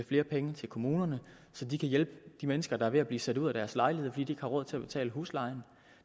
flere penge til kommunerne så de kan hjælpe de mennesker der er ved at blive sat ud af deres lejlighed fordi de har råd til at betale huslejen